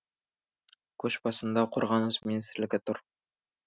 көш басында қорғаныс министрлігі тұр